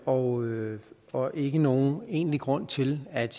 og og ikke nogen egentlig grund til at